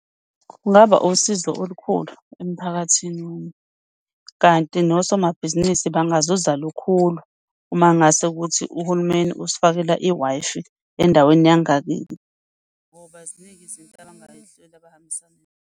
Kungaba usizo olukhulu emphakathini kanti nosomabhizinisi bangazuza lukhulu uma ngase ukuthi uhulumeni usifakele i-Wi-Fi endaweni yangakithi. Ngoba ziningi izinto abangayihlola .